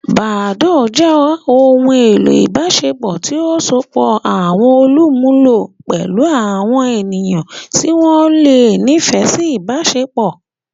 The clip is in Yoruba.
Badoo jẹ ohun elo ibaṣepọ ti o sopọ awọn olumulo pẹlu awọn eniyan ti wọn le nifẹ si ibaṣepọ.